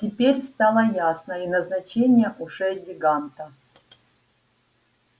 теперь стало ясно и назначение ушей гиганта